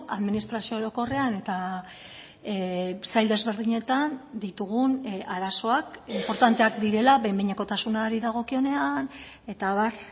administrazio orokorrean eta sail desberdinetan ditugun arazoak inportanteak direla behin behinekotasunari dagokionean eta abar